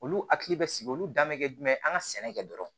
Olu hakili bɛ sigi olu dan bɛ kɛ jumɛn ye an ka sɛnɛ kɛ dɔrɔn